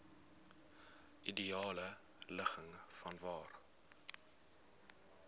ideale ligging vanwaar